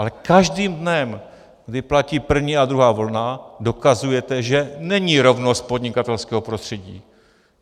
Ale každým dnem, kdy platí první a druhá vlna, dokazujete, že není rovnost podnikatelského prostředí.